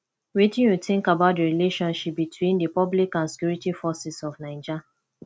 wetin you think about di relationship between di public and security forces of naija